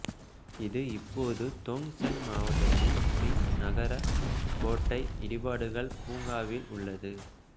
இது இப்போது தோங்செங் மாவட்டத்தின் மிங் நகர கோட்டை இடிபாடுகள் பூங்காவில் உள்ளது